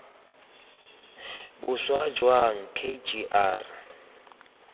boswa jang k g r